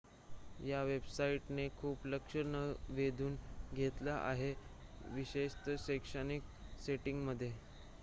या वेबसाईट ने खूप लक्ष वेधून घेतले आहे विशेषत शैक्षणिक सेटिंग मध्ये